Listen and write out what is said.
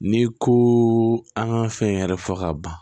N'i ko an ka fɛn yɛrɛ fɔ ka ban